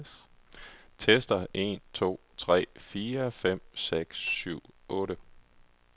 Tester en to tre fire fem seks syv otte.